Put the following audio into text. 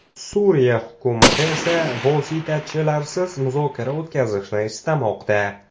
Suriya hukumati esa vositachilarsiz muzokara o‘tkazishni istamoqda.